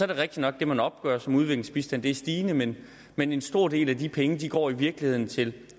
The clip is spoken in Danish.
det rigtigt nok at det man opgør som udviklingsbistand er stigende men men en stor del af de penge går i virkeligheden til